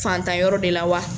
Fantan yɔrɔ de la wa